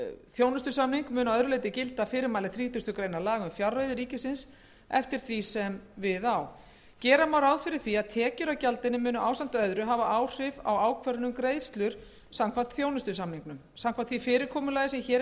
þjónustusamning munu að öðru leyti gilda fyrirmæli þrítugustu greinar laga um fjárreiður ríkisins eftir því sem við á gera má ráð fyrir því að tekjur af gjaldinu muni ásamt öðru hafa áhrif á ákvörðun um greiðslur samkvæmt þjónustusamningnum samkvæmt því fyrirkomulagi sem hér er